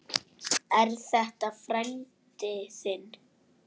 Er þetta frændi þinn?